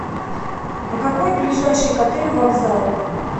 а какой ближайший к отелю вокзал